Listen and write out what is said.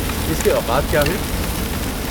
اس کے اوقات کیا ہیں؟